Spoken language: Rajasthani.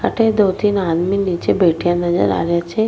अठे दो तीन आदमी नीचे बैठया नजर आ रिया छे।